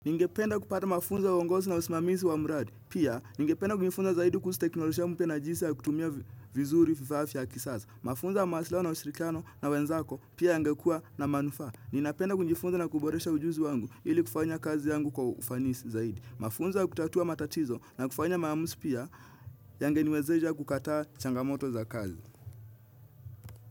Ningependa kupata mafunzo wa uongozi na usimamizi wa miradi. Pia, ningependa kunjifunza zaidi kuhusu teknolojia mpya na jinsi ya kutumia vizuri vifaa vya kisasa. Mafunzo wa maslahi na ushirikiano na wenzako pia yangekua na manufa. Ninapenda kunjifunza na kuboresha ujuzi wangu ili kufanya kazi yangu kwa ufanisi zaidi. Mafunzo ya kutatua matatizo na kufanya maamuzi pia yangeniwezesha kukataa changamoto za kazi.